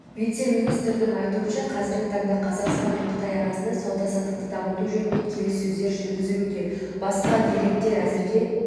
вице-министрдің айтуынша қазіргі таңда қазақстан мен қытай арасында сауда-саттықты дамыту жөнінде келіссөздер жүргізілуде басқа деректер әзірге